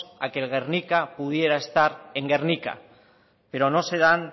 a que el guernica pudiera estar en gernika pero no se dan